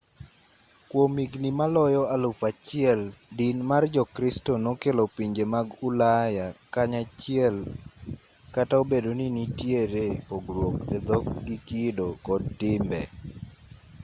kwom higni maloyo alufu achiel din mar jokristo nokelo pinje mag ulaya kanyachiel kata obedo ni nitiere pogruok e dhok gi kido kod timbe